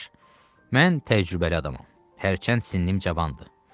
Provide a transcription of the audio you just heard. Qardaş, mən təcrübəli adamam, hərçənd sinnim cavandır.